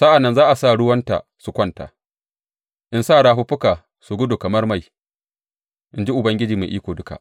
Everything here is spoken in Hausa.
Sa’an nan zan sa ruwanta su kwanta in sa rafuffukanta su gudu kamar mai, in ji Ubangiji Mai Iko Duka.